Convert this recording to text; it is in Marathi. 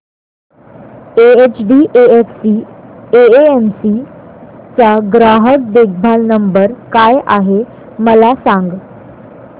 एचडीएफसी एएमसी चा ग्राहक देखभाल नंबर काय आहे मला सांग